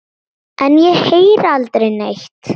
En ég heyri aldrei neitt.